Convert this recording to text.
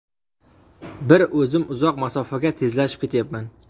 Bir o‘zim uzoq masofaga tezlashib ketyapman.